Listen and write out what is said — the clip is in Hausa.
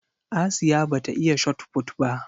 Asiya ba ta iya Shotput ba